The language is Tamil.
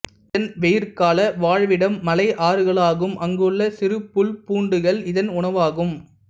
இதன் வெயிற்கால வாழ்விடம் மலை ஆறுகளாகும் அங்குள்ள சிறு புல் பூண்டுகள் இதன் உணவாகும்